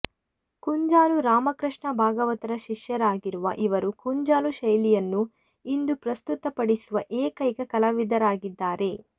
ಕುಂಜಾಲು ರಾಮಕೃಷ್ಣ ಭಾಗವತರ ಶಿಷ್ಯರಾಗಿರುವ ಇವರು ಕುಂಜಾಲು ಶೈಲಿಯನ್ನು ಇಂದು ಪ್ರಸ್ತುತ ಪಡಿಸುವ ಏಕೈಕ ಕಲಾವಿದರಾಗಿದ್ದಾರೆ